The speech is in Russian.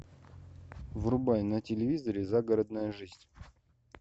врубай на телевизоре загородная жизнь